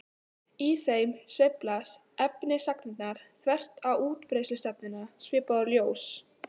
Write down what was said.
Í þeim sveiflast efnisagnirnar þvert á útbreiðslustefnuna svipað og ljós.